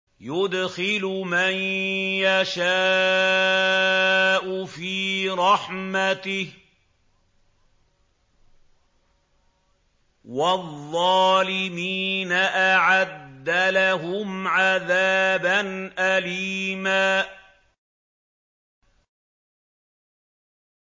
يُدْخِلُ مَن يَشَاءُ فِي رَحْمَتِهِ ۚ وَالظَّالِمِينَ أَعَدَّ لَهُمْ عَذَابًا أَلِيمًا